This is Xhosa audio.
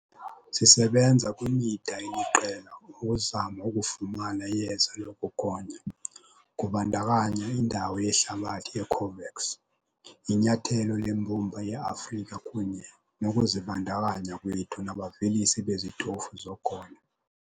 Sisebenza kwimida eliqela ukuzama ukufumana iyeza lokugonya, kubandakanya indawo yehlabathi ye-COVAX, inyathelo leMbumba ye-Afrika kunye nokuzibandakanya kwethu nabavelisi bezitofu zogonyo.